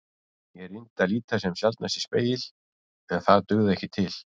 Ég reyndi að líta sem sjaldnast í spegil en það dugði ekki til.